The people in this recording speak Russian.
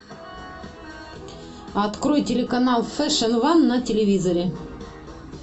открой телеканал фэшн ван на телевизоре